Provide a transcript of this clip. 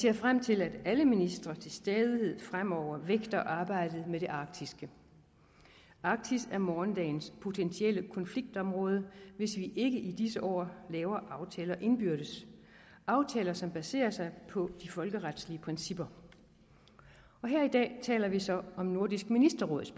jeg frem til at alle ministre til stadighed fremover vægter arbejdet med det arktiske arktis er morgendagens potentielle konfliktområde hvis vi ikke i disse år laver aftaler indbyrdes aftaler som baserer sig på de folkeretslige principper her i dag taler vi så om nordisk ministerråds